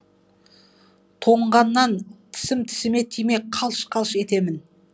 тоңғаннан тісім тісіме тимей қалш қалш етемін